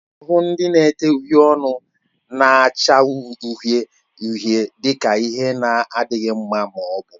A na-ahụ ndị na-ete uhiè ọnụ na-acha uhie uhie dị ka ihe na-adịghị mma na mbụ